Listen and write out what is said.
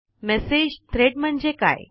message thread म्हणजे काय